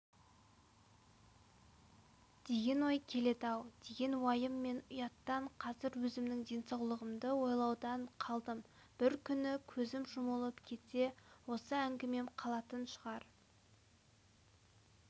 деген ой келеді-ау деген уайым мен ұяттан қазір өзімнің денсаулығымды ойлаудан қалдым бір күні көзім жұмылып кетсе осы әңгімем қалатын шығар